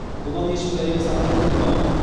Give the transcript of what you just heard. бұдан ешбір әйел сақтандырылмаған